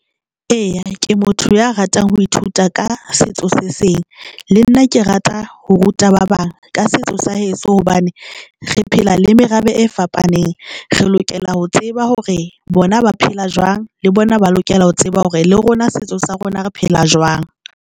Eya, ke motho ya ratang ho ithuta ka setso se seng le nna ke rata ho ruta ba bang ka setso sa heso. Hobane re phela le merabe e fapaneng, re lokela ho tseba hore bona ba phela jwang le bona ba lokela ho tseba hore le rona setso sa rona re phela jwang.